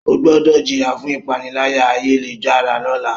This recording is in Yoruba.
O gbọdọ jiya fun ipanilaya-ayelujara lọla!